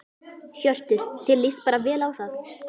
Hjörtur: Þér lýst bara vel á það?